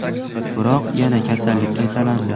Biroq yana kasallik qaytalandi.